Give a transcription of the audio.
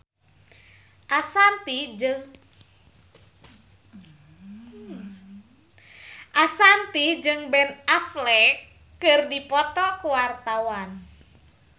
Ashanti jeung Ben Affleck keur dipoto ku wartawan